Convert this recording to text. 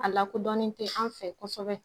A lakodɔnnen tɛ an fɛ kosɛbɛ